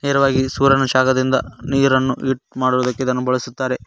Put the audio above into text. ನೇರವಾಗಿ ಸೂರ್ಯನ ಶಾಖದಿಂದ ನೀರನ್ನು ಹೀಟ್ ಮಾಡುವುದಕ್ಕೆ ಇದನ್ನು ಬಳಸುತ್ತಾರೆ.